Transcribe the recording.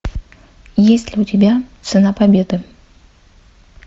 есть ли у тебя цена победы